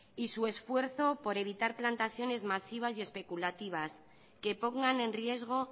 y su esfuerzo por evitar plantaciones masivas y especulativas que pongan en riesgo